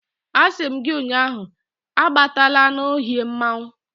A si m gi ụnyahụ, abatala n' ohia mmanwu